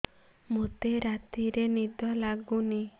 ମୋତେ ରାତିରେ ନିଦ ଲାଗୁନି